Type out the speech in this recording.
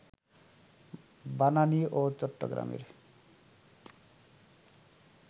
বানানী ও চট্টগ্রামের